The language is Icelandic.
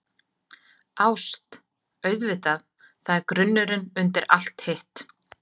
ÁST- auðvitað, það er grunnurinn undir allt hitt.